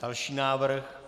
Další návrh.